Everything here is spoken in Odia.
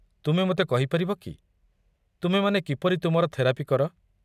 ତୁମେ ମୋତେ କହିପାରିବ କି ତୁମେ ମାନେ କିପରି ତୁମର ଥେରାପି କର?